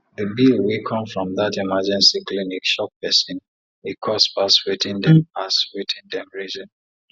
the bill wey come from that emergency clinic shock person e cost pass wetin dem pass wetin dem reason